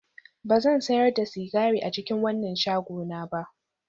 Ba zan sayar da sigari a cikin wannan shagona ba